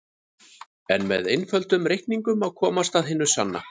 En með einföldum reikningum má komast að hinu sanna.